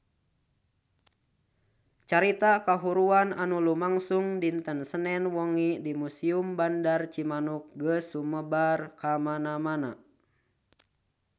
Carita kahuruan anu lumangsung dinten Senen wengi di Museum Bandar Cimanuk geus sumebar kamana-mana